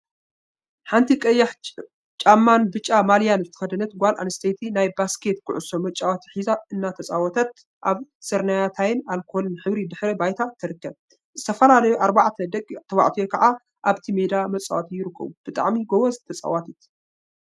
ሓንቲ ቀይሕ ጫማን ብጫ ማልያን ዝተከደነት ጓል አንስተይቲ ናይ ባስኬት ኩዕሶ መጫወቲ ሒዛ እናተፃወተት አብ ስርናየታይን አልኮልን ሕብሪ ድሕረ ባይታ ትርከብ፡፡ ዝተፈላለዩ አርባዕተ ደቂ ተባዕትዮ ከዓ አብቲ ሜዳ መፃወቲ ይርከቡ፡፡ ብጣዕሚ ጎበዝ ተፃዋቲት!